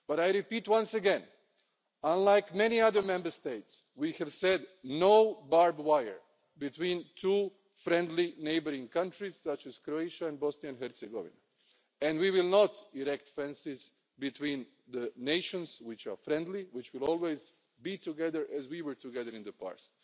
But I repeat, once again, unlike many other Member States, we have said no barbed wire between two friendly, neighbouring countries such as Croatia and Bosnia and Herzegovina, and we will not erect fences between nations which are friendly, which will always be together as we were together in the past.